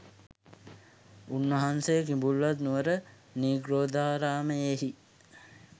උන්වහන්සේ කිඹුල්වත් නුවර නිග්‍රෝධාරාමයෙහි